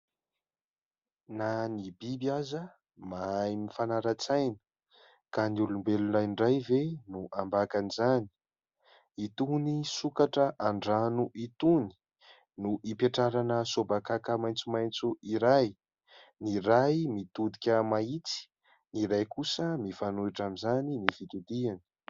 Na ny biby aza mahay mifanara-tsaina ka ny olombelona indray ve no ambakan'izany. Itony sokatra an-drano itony no ipetrarana sôbakaka maitsomaitso iray. Ny iray mitodika mahitsy ; ny iray kosa mifanohitra amin'izany ny fitodiany.